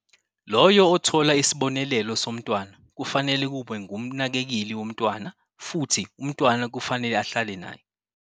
Loyo othola isibonelelo somntwana kufanele kube ngumnakekeli womntwana futhi umntwana kufanele ahlale naye.